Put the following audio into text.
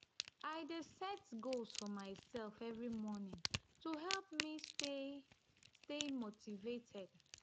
i dey set goals for myself every morning to help me stay stay motivated.